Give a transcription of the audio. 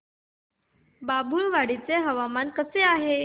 बाभुळवाडी चे हवामान कसे आहे